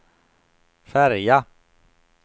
färja